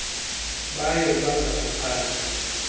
bayo baza kuphanda